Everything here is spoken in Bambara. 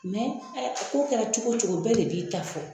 ko kɛra cogo o cogo bɛɛ de b'i ta fɔ.